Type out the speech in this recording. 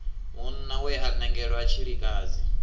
munna we a nangelwa tshilikadzi